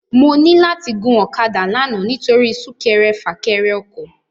Mò ni làti gún òkàdá làná nitóri súkèrè fâkèrè òkò